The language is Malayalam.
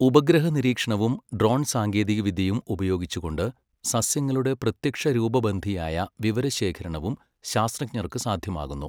ഉപഗ്രഹനിരീക്ഷണവും ഡ്രോൺ സാങ്കേതികവിദ്യയും ഉപയോഗിച്ചുകൊണ്ട് സസ്യങ്ങളുടെ പ്രത്യക്ഷരൂപബന്ധിയായ വിവരശേഖരണവും ശാസ്ത്രജ്ഞർക്ക് സാധ്യമാകുന്നു.